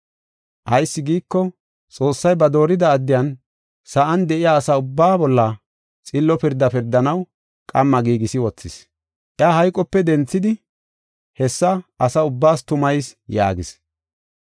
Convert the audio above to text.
Ayis giiko, Xoossay ba doorida addiyan sa7an de7iya asa ubbaa bolla xillo pirda pirdanaw qamma giigisi wothis. Iya hayqope denthidi hessa asa ubbaas tumayis” yaagis.